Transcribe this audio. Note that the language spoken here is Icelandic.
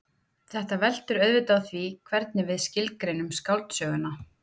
Þetta veltur auðvitað á því hvernig við skilgreinum skáldsöguna.